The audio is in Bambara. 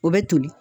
O bɛ toli